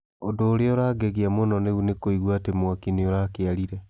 ũndu ũria ũrangegia mũno riu nĩkũigua atĩ mwaki nĩ ũrakĩarire